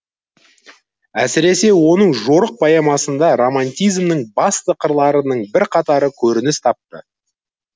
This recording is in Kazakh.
әсіресе оның жорық поэмасында романтизмнің басты қырларының бірқатары көрініс тапты